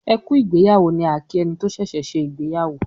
"ẹkú ìgbéyàwó" ni a kí ẹni tí ṣẹṣẹ ṣe ìgbéyàwó.